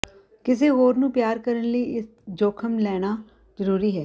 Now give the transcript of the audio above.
ਕਿਸੇ ਹੋਰ ਨੂੰ ਪਿਆਰ ਕਰਨ ਲਈ ਇਕ ਜੋਖਮ ਲੈਣਾ ਜਰੂਰੀ ਹੈ